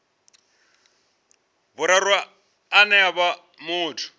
vhuraru ane a vha muthu